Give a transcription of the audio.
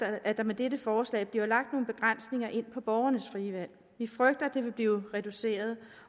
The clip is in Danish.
at der med dette forslag bliver lagt nogle begrænsninger for borgernes frie valg vi frygter at det vil blive reduceret